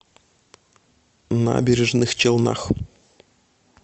набережных челнах